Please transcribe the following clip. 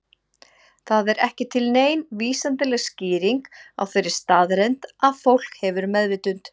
Það er ekki til nein vísindaleg skýring á þeirri staðreynd að fólk hefur meðvitund.